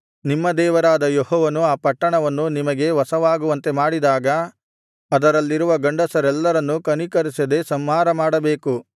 ನಿಮ್ಮ ದೇವರಾದ ಯೆಹೋವನು ಆ ಪಟ್ಟಣವನ್ನು ನಿಮಗೆ ವಶವಾಗುವಂತೆ ಮಾಡಿದಾಗ ಅದರಲ್ಲಿರುವ ಗಂಡಸರೆಲ್ಲರನ್ನೂ ಕನಿಕರಿಸದೆ ಸಂಹಾರಮಾಡಬೇಕು